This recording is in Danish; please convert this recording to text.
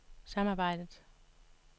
samarbejdet